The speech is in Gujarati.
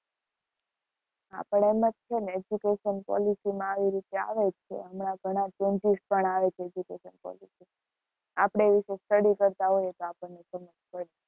હા પણ, એમ જ છે ને education policy માં આવી રીતે આવે જ છે, હમણાં ઘણા changes પણ આવે છે, education policy માં, આપણે એ વિષે study કરતા હોય તો આપણને સમજ પડે.